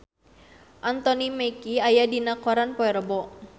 Anthony Mackie aya dina koran poe Rebo